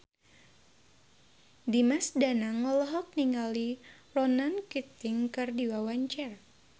Dimas Danang olohok ningali Ronan Keating keur diwawancara